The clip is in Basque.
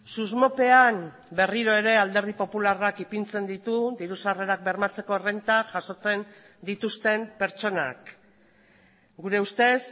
susmopean berriro ere alderdi popularrak ipintzen ditu diru sarrerak bermatzeko errenta jasotzen dituzten pertsonak gure ustez